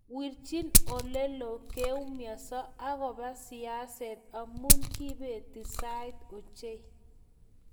wirchi oleloo keumianso agoba siaset amu kibeti sait ochei